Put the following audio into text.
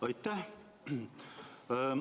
Aitäh!